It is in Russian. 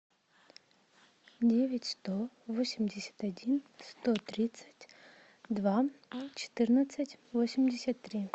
девять сто восемьдесят один сто тридцать два четырнадцать восемьдесят три